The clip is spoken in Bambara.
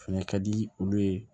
O fɛnɛ ka di olu ye